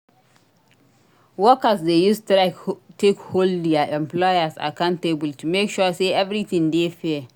Workers de use strike take hold their employers accountable to make sure say everything de fair